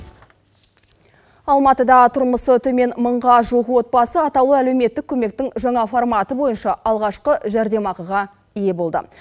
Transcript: алматыда тұрмысы төмен мыңға жуық отбасы атаулы әлеуметтік көмектің жаңа форматы бойынша алғашқы жәрдемақыға ие болды